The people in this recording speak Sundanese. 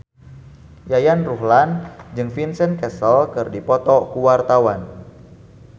Yayan Ruhlan jeung Vincent Cassel keur dipoto ku wartawan